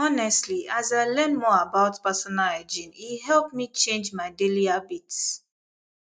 honestly as i learn more about personal hygiene e help me change my daily habits